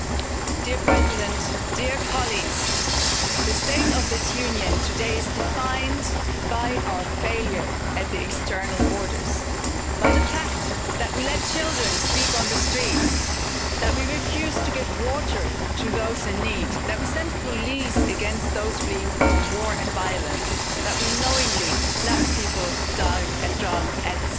Mr President, the state of this Union today is defined by our failure at the external borders, by the fact that we let children sleep on the streets, that we refuse to give water to those in need, that we send police against those fleeing from war and violence and that we knowingly let people down and drown at sea.